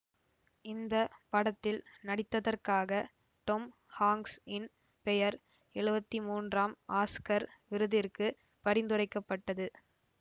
இந்த படத்தில் நடித்ததற்காக டொம் ஹாங்க்ஸ்இன் பெயர் எழுவத்தி மூன்றாம் ஆஸ்கர் விருதிற்கு பரிந்துரைக்கப்பட்டது